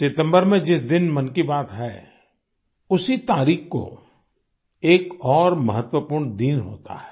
सितम्बर में जिस दिन मन की बात है उसी तारीख को एक और महत्वपूर्ण दिन होता है